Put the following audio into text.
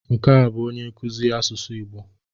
Nke a bụ onye nkuzi asụsụ Igbo.